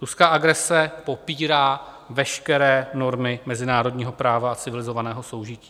Ruská agrese popírá veškeré normy mezinárodního práva a civilizovaného soužití.